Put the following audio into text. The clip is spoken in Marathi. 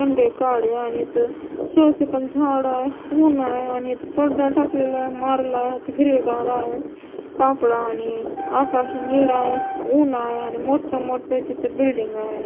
मंदे काडे आणि इथं शो ची पण झाडं आहे ऊन आहे आणि इथं पडदा टाकलेला आहे मारला इथं हिरवगार आहे कापडं आणि आकाश निळ आहे ऊन आहे आणि मोठं मोठं तिथं बिल्डिंग आहे.